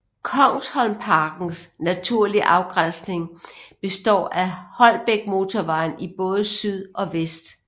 Kongsholmparkens naturlige afgrænsning består af Holbækmotorvejen i både syd og vest